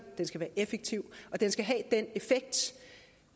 det